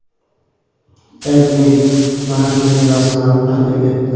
AdMe mana shunday rasmlarni taqdim etdi.